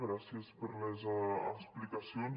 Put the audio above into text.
gràcies per les explicacions